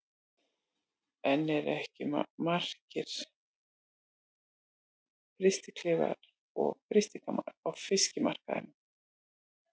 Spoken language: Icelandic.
En eru ekki markir frystiklefar og frystigámar á fiskmarkaðinum?